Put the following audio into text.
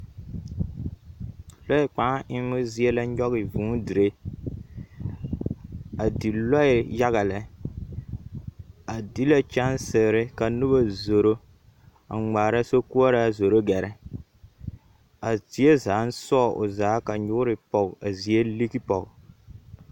Lɔɛ kpãã emmo zie la nyɔge vŭŭ dire, a di lɔɛ yaga lɛ, a di la kyɛnsere ka nobɔ zoro a ŋmaara sokoɔraa zoro gɛrɛ. A zie zaaŋ sɔɔ o zaa ka nyoore pɔge a zie ligi pɔge.